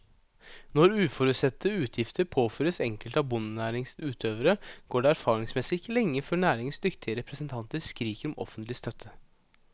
Når uforutsette utgifter påføres enkelte av bondenæringens utøvere, går det erfaringsmessig ikke lenge før næringens dyktige representanter skriker om offentlig støtte.